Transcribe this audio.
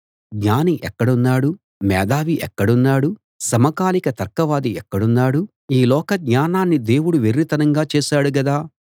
జ్ఞాని ఎక్కడున్నాడు మేధావి ఎక్కడున్నాడు సమకాలిక తర్కవాది ఎక్కడున్నాడు ఈ లోక జ్ఞానాన్ని దేవుడు వెర్రితనంగా చేశాడు గదా